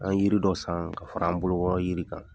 An ye yiri dɔ san ka fara an bolokɔrɔ yiri kan.